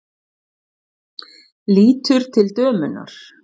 Lítur til dömunnar.